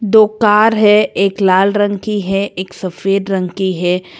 दो कार है एक लाल रंग की है एक सफेद रंग की है।